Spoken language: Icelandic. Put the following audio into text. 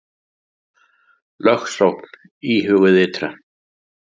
Lögsókn íhuguð ytra